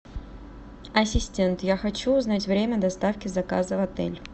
ассистент я хочу узнать время доставки заказа в отель